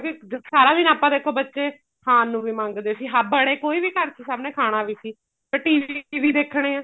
ਕਿਉਂਕਿ ਸਾਰਾ ਦਿਨ ਆਪਾਂ ਦੇਖੋ ਬੱਚੇ ਖਾਣ ਨੂੰ ਵੀ ਮੰਗਦੇ ਸੀ ਹਾਵੜੇ ਕੋਈ ਵੀ ਘਰ ਚ ਸਭ ਨੇ ਖਾਣਾ ਵੀ ਸੀ ਫੇਰ TV ਵੀ ਦੇਖਣੇ ਆ